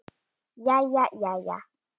Jæja, jæja.